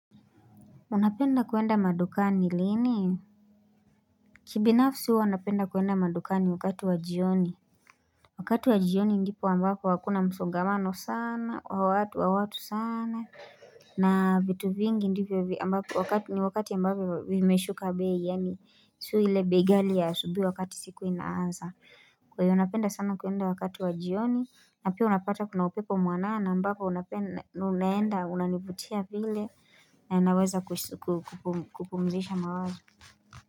Unapenda kuenda madukani lini? Kibinafsi huwa napenda kuenda madukani wakati wa jioni. Wakati wa jioni ndipo ambapo hakuna msongamano sana wa watu wa watu sana na vitu vingi ndivyo ambako wakati ni wakati ambako vimeshuka bei yani sio ile bei ghali ya asubuhi wakati siku inaanza wenye wanapenda sana kuenda wakati wa jioni na pia unapata kuna upepo mwanana ambapo unaenda, unanivutia vile na naweza kupumzisha mawazo.